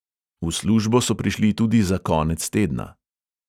V službo so prišli tudi za konec tedna.